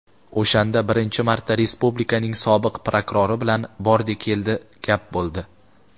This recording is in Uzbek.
O‘shanda birinchi marta respublikaning sobiq prokurori bilan "bordi-keldi" gap bo‘ldi.